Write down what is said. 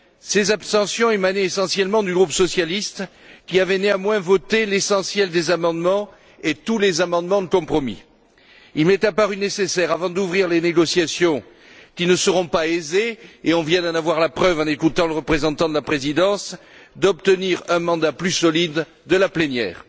Ces abstentions émanaient essentiellement du groupe socialiste, qui avait néanmoins voté l'essentiel des amendements et tous les amendements de compromis. Il m'est apparu nécessaire avant d'ouvrir les négociations, qui ne seront pas aisées et on vient d'en avoir la preuve en écoutant le représentant de la Présidence d'obtenir un mandat plus solide de la plénière.